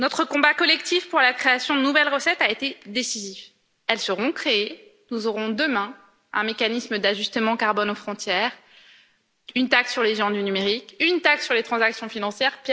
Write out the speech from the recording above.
Notre combat collectif pour la création de nouvelles recettes a été décisif. Elles seront créées, nous aurons demain un mécanisme d'ajustement carbone aux frontières, une taxe sur les géants du numérique, une taxe sur les transactions financières.